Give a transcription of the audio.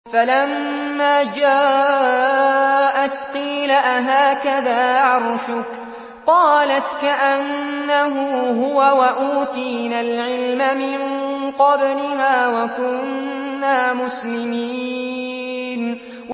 فَلَمَّا جَاءَتْ قِيلَ أَهَٰكَذَا عَرْشُكِ ۖ قَالَتْ كَأَنَّهُ هُوَ ۚ وَأُوتِينَا الْعِلْمَ مِن قَبْلِهَا وَكُنَّا مُسْلِمِينَ